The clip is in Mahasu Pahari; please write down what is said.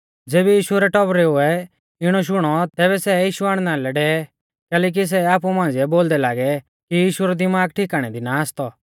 ज़ैबै यीशु रै टौबरुऐ इणौ शुणौ तैबै सै यीशु ओरु आणना लै डेवै कैलैकि सै आपु मांझ़िऐ बोलदै लागै कि यीशु रौ दिमाग ठिकाणै दी ना आसतौ